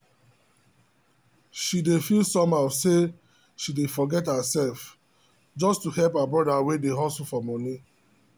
she dey feel somehow say she dey forget herself just to help her brother wey dey hustle for money.